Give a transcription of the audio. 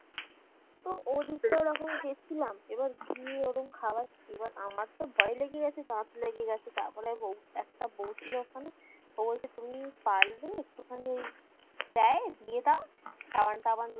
তো ওদিকটায় ওরকম গেছিলাম এবার গিয়ে ওরম খাওয়াচ্ছি এবার আমারতো ভয় লেগে গেছে দাঁত লেগে গেছে তারপরে বৌ একটা বৌ ছিল ওখানে ও বলছে তুমি পারলে একটুখানি ওই দেয় দিয়ে দাও সাবান টাবান